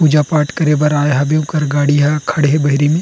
पूजा पाठ करे बर आए हबे ओकर गाड़ी ह बहिरी में--